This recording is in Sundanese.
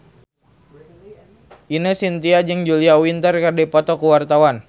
Ine Shintya jeung Julia Winter keur dipoto ku wartawan